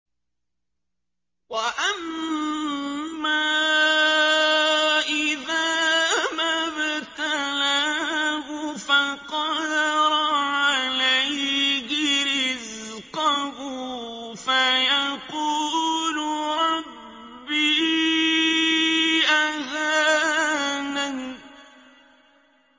وَأَمَّا إِذَا مَا ابْتَلَاهُ فَقَدَرَ عَلَيْهِ رِزْقَهُ فَيَقُولُ رَبِّي أَهَانَنِ